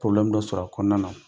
dɔ sɔrɔ kɔnɔna nɔn